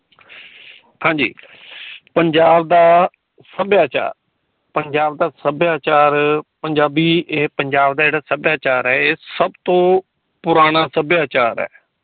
ਹਾਂਜੀ ਪੰਜਾਬ ਦਾ ਸੱਭਿਆਚਾਰ ਪੰਜਾਬ ਦਾ ਸੱਭਿਆਚਾਰ ਪੰਜਾਬੀ ਏ ਪੰਜਾਬ ਦਾ ਜੇੜਾ ਸੱਭਿਆਚਾਰ ਏ ਸਬ ਤੋਂ ਪੁਰਾਣਾ ਸੱਭਿਆਚਾਰ ਏ।